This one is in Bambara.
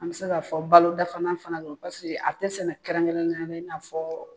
An bɛ se k'a fɔ balo dafanan fana don pase a tɛ sɛnɛ kɛrɛnkɛrɛnnenyana i n'a fɔɔ